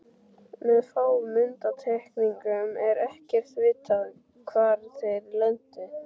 Með fáum undantekningum er ekkert vitað hvar þeir lentu.